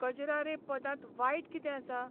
कजरा रे 'पदांत वायट कितें आसा?